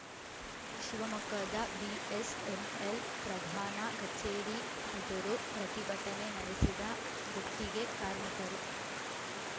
ಶಿವಮೊಗ್ಗದ ಬಿಎಸ್‌ಎನ್‌ಎಲ್‌ ಪ್ರಧಾನ ಕಚೇರಿ ಎದುರು ಪ್ರತಿಭಟನೆ ನಡೆಸಿದ ಗುತ್ತಿಗೆ ಕಾರ್ಮಿಕರು